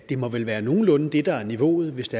det må vel være nogenlunde det der er niveauet hvis